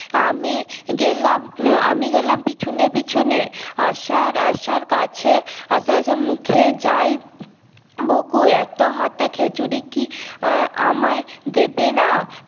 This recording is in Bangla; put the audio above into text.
আমি গেলাম আমি গেলাম পিছনে পিছনে আসার আসার কাছে আসার আসার মুখে যাই উম বকু এত হাতা খিছুড়ি কি আমাই দেবে না